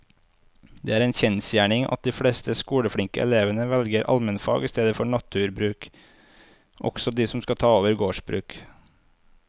Det er en kjensgjerning at de fleste skoleflinke elevene velger allmennfag i stedet for naturbruk, også de som skal ta over gårdsbruk.